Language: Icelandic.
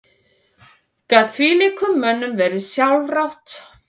Gat þvílíkum mönnum verið sjálfrátt?